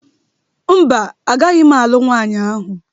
Mba, agaghị m alụ nwanyị ahụ